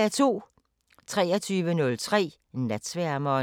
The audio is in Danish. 23:03: Natsværmeren